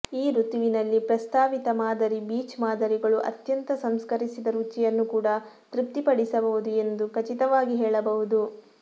ಈ ಋತುವಿನಲ್ಲಿ ಪ್ರಸ್ತಾವಿತ ಮಾದರಿ ಬೀಚ್ ಮಾದರಿಗಳು ಅತ್ಯಂತ ಸಂಸ್ಕರಿಸಿದ ರುಚಿಯನ್ನು ಕೂಡ ತೃಪ್ತಿಪಡಿಸಬಹುದು ಎಂದು ಖಚಿತವಾಗಿ ಹೇಳಬಹುದು